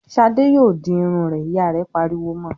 "Ṣadé yóò di irun rẹ!" Ìyá rẹ̀ pariwo mọ.